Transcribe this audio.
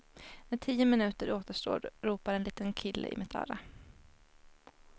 När tio minuter återstår ropar en liten kille i mitt öra.